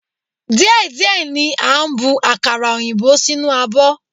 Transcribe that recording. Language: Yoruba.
Díẹ̀ díẹ̀ ni a bu akara òyìnbó sínú abọ́.